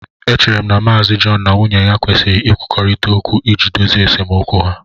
Echere m na Mr John na nwunye ya kwesịrị ikwurịta okwu iji dozie esemokwu ha